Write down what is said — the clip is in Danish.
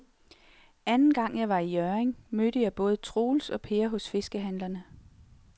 Anden gang jeg var i Hjørring, mødte jeg både Troels og Per hos fiskehandlerne.